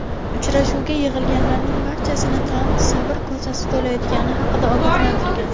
Uchrashuvga yig‘ilganlarning barchasini Tramp sabr kosasi to‘layotgani haqida ogohlantirgan.